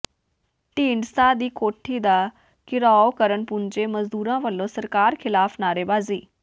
ਢੀਂਡਸਾ ਦੀ ਕੋਠੀ ਦਾ ਘਿਰਾਓ ਕਰਨ ਪੁੱਜੇ ਮਜ਼ਦੂਰਾਂ ਵੱਲੋਂ ਸਰਕਾਰ ਖ਼ਿਲਾਫ਼ ਨਾਅਰੇਬਾਜ਼ੀ